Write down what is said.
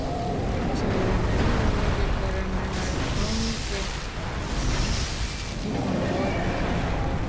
O sonyeere mmemme nwere oge kwere mmegharị ka o nwe ike ịpụ mgbe ọ dị mkpa.